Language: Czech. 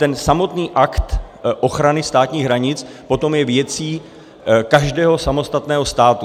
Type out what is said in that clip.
Ten samotný akt ochrany státních hranic je potom věcí každého samostatného státu.